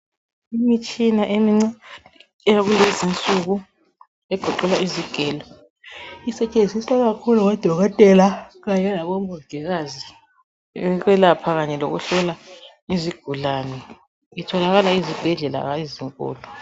Imitshina emincane eyakulezinsuku egoqela izigelo isetshenziswa kakhulu ngodokotela kanye labomongikazi ukwelapha kanye lokuhlola izigulane. Itholakala ezibhedlela ezinkulu.